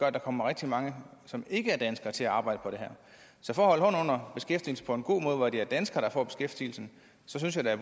at der kommer rigtig mange som ikke er danskere til at arbejde på det så for at under beskæftigelsen på en god måde hvor det er danskere der får beskæftigelsen synes jeg da